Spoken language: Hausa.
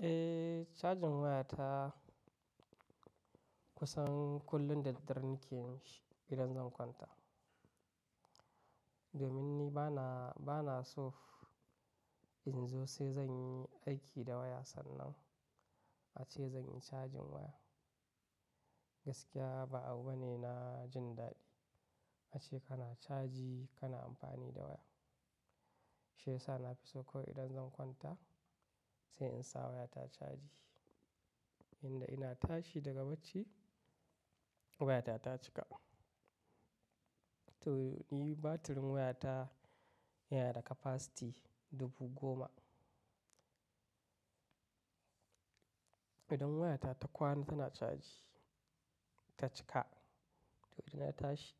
Eh, cajin waya ta kusan kullum da dare nake yin shi idan zan kwanta. Domin ni bana, bana so in zo sai zan yi aiki da waya sannan ace zan yi cajin waya. Gaskiya ba abu bane na jin daɗi ace kana caji kana amfani da waya. Shi yasa na fi so kawai idan zan kwanta sai in sa waya ta caji. Inda ina tashi daga bacci waya ta, ta cika. To, ni batirin waya ta yana da capacity dubu goma. Idan waya ta, ta kwana tana caji ta cika. To, idan na tashi